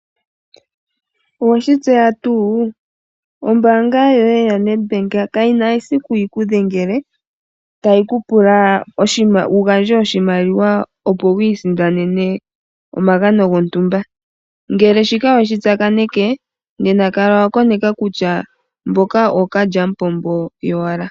Oweshi tseya tuu ombaanga yoye yoNedbank kayina esiku yi ku dhengele tayi ku pula wu gandje oshimaliwa opo wu isindanene omagano gontumba ngele oweshi tsakaneke nena kala wa konka kutya mboka ookalalyamupombo yowala.